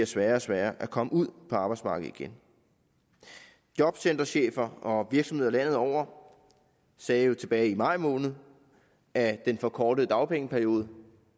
sværere og sværere at komme ud på arbejdsmarkedet igen jobcenterchefer og virksomheder landet over sagde jo tilbage i maj måned at den forkortede dagpengeperiode